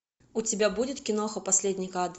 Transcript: у тебя будет киноха последний кадр